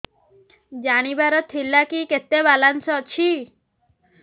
ଜାଣିବାର ଥିଲା କି କେତେ ବାଲାନ୍ସ ଅଛି